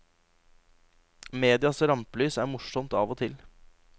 Medias rampelys er morsomt av og til.